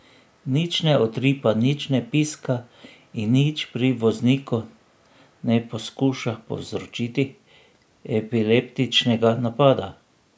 Nič ne utripa, nič ne piska in nič pri vozniku ne poskuša povzročiti epileptičnega napada.